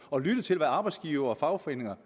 og lyttede til hvad arbejdsgivere og fagforeninger